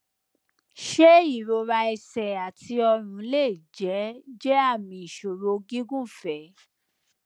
ṣé ìrora ẹsẹ àti ọrùn lè jẹ jẹ àmì ìṣòro gígùnfẹ